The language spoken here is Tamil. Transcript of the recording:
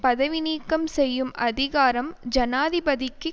பதவி நீக்கம் செய்யும் அதிகாரம் ஜனாதிபதிக்கு